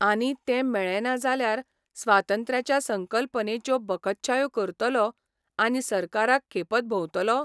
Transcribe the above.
आनी तें मेळ्ळें ना जाल्यार स्वातंत्र्याचे संकल्पनेच्यो बकच्छायो करतलों, आनी सरकाराक खेपत भोंवतलों?